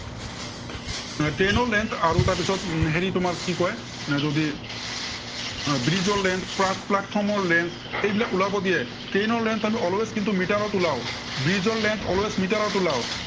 এৰ train ৰ length আৰু তাৰপিছত হেৰি তোমাৰ কি কয় আহ bridge ৰ length plus platform ৰ length এইবিলাক ওলাব দিয়ে। train ৰ length always কিন্তু মিটাৰত ওলাও। bridge ৰ length কিন্তু